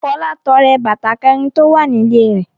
Fọlá tọrẹ bàtà kẹ̀rin tó wà nílé rẹ̀.